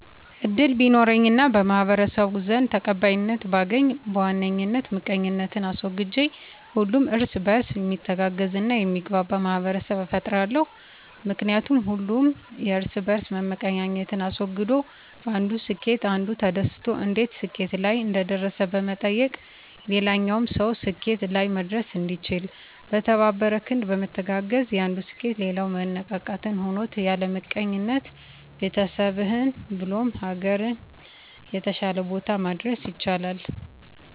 እድል ቢኖረኝ እና በማህበረሰቡ ዘንድ ተቀባይነትን ባገኝ በዋነኝ ምቀኝነትን አስወግጄ ሁሉም እርስ በእርስ ሚተጋገዝ እና የሚግባባ ማህበረሰብን እፈጥራለሁ። ምክንያቱም ሁሉም የእርስ በእርስ መመቀኛኘትን አስወግዶ በአንዱ ስኬት አንዱ ተደስቶ እንዴት ስኬት ላይ እንደደረሰ በመጠየቅ ሌላኛውም ሰው ስኬት ላይ መድረስ እንዲችል። በተባበረ ክንድ በመተጋገዝ የአንዱ ስኬት ሌላው መነቃቃትን ሆኖት ያለምቀኝነት ቤተሰብህ ብሎም ሀገርን የተሻለ ቦታ ማድረስ ይቻላል።